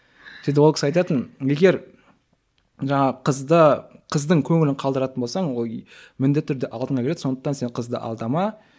сөйтіп ол кісі айтатын егер жаңағы қызды қыздың көңілін қалдыратын болсаң ол міндетті түрде алдыңа келеді сондықтан сен қызды алдама